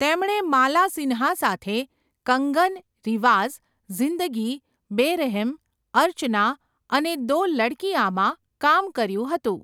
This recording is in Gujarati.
તેમણે માલા સિન્હા સાથે 'કંગન', 'રિવાઝ', 'ઝિંદગી', 'બેરહમ', 'અર્ચના' અને 'દો લડકીયાં'માં કામ કર્યું હતું.